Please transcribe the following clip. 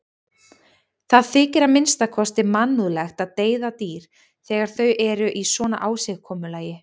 Það þykir að minnsta kosti mannúðlegt að deyða dýr þegar þau eru í svona ásigkomulagi.